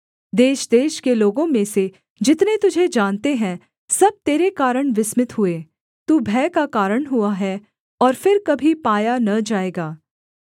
देशदेश के लोगों में से जितने तुझे जानते हैं सब तेरे कारण विस्मित हुए तू भय का कारण हुआ है और फिर कभी पाया न जाएगा